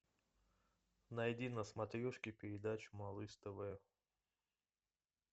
найди на смотрешке передачу малыш тв